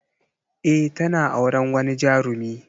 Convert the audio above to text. Eh tana auren wani jarumi.